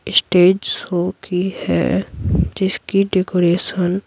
stage show की है जिसकी डेकोरेशन --